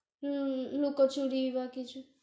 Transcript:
হুঁ, লোকোচুরি বা কিছু